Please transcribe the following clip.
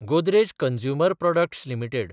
Godrej consumer products limited